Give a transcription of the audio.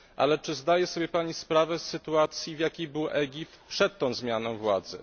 Ale czy zdaje sobie Pani sprawę z sytuacji, w jakiej był Egipt przed tą zmianą władzy?